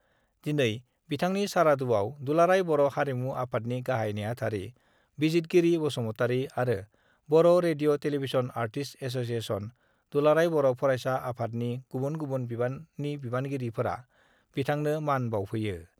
दिनै बिथांनि सारादुआव दुलाराय बर' हारिमु आफादनि गाहाइ नेहाथारि बिजितगिरि बसुमतारि आरो Bodo radio television artist association, दुलाराय बर' फरायसा आफादनि गुबुन गुबुन बिबाननि बानगिरिफोरा बिथांनो मान बाउफैयो।